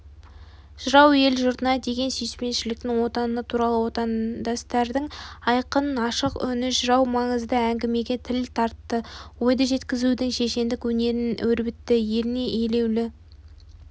жырау ел-жұртына деген сүйіспеншіліктің отаны туралы отандастардың айқын ашық үні жырау маңызды әңгімеге тіл тартты ойды жеткізудің шешендік өнерін өрбітті елін елеулі